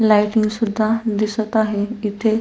lighting सुद्धा दिसत आहे इथे --